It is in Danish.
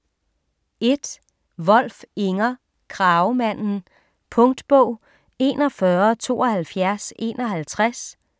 1. Wolf, Inger: Kragemanden Punktbog 417251